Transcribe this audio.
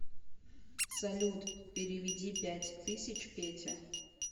салют переведи пять тысяч пете